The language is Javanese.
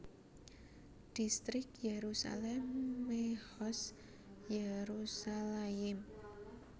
Dhistrik Yerusalem Mehoz Yerushalayim